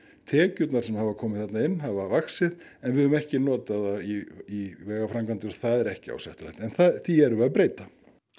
tekjurnar sem hafa komið inn hafa vaxið en við höfum ekki notað þær í vegaframkvæmdir og það er ekki ásættanlegt en því erum við að breyta